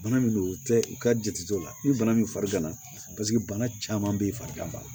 Bana min don u tɛ u ka jate dɔw la ni bana min fari gana paseke bana caman bɛ farigan